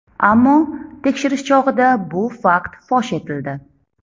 Ammo tekshirish chog‘ida bu fakt fosh etildi.